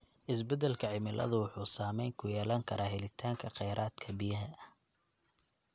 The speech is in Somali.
Isbedelka cimiladu wuxuu saameyn ku yeelan karaa helitaanka khayraadka biyaha.